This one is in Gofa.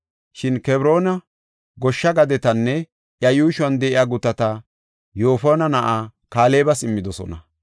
Shin Kebroona goshsha gadetanne iya yuushuwan de7iya gutata Yoofone na7aa Kaalebas immidosona.